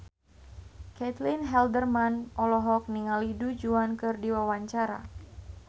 Caitlin Halderman olohok ningali Du Juan keur diwawancara